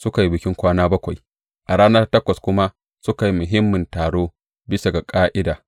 Suka yi bikin kwana bakwai, a rana ta takwas kuma suka yi muhimmin taro bisa ga ƙa’ida.